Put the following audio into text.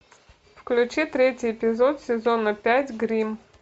включи третий эпизод сезона пять гримм